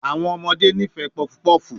Awọn ọmọde nifẹ puff puff